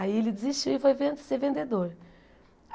Aí ele desistiu e foi ven ser vendedor.